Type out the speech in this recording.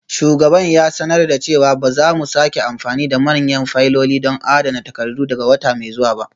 Shugaban ya sanar da cewa ba za mu sake amfani da manyan fayiloli don adana takardu daga wata mai zuwa ba.